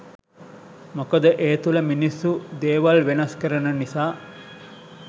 මොකද ඒ තුළ මිනිස්සු දේවල් වෙනස් කරන නිසා.